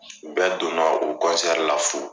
U bɛ donna o la fu.